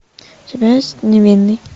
у тебя есть невинный